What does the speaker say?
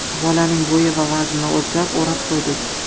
Bolaning bo‘yi va vaznini o‘lchab o‘rab qo‘ydik.